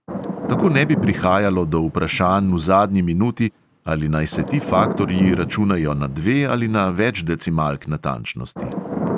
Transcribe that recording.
Tako ne bi prihajalo do vprašanj v zadnji minuti, ali naj se ti faktorji računajo na dve ali na več decimalk natančnosti.